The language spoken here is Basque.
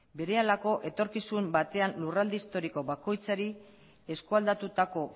berehalako etorkizun batean lurralde historiko bakoitzari eskualdatutako